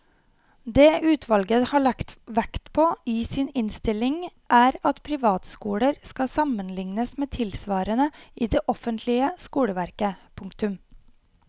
Det utvalget har lagt vekt på i sin innstilling er at privatskoler skal sammenlignes med tilsvarende i det offentlige skoleverket. punktum